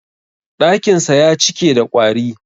Ɗakinsa ya cike da ƙwari.